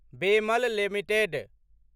BEML limited